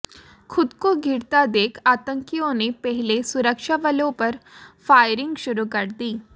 खुद को घिरता देख आतंकियों ने पहले सुरक्षाबलों पर फायरिंग शुरू कर दी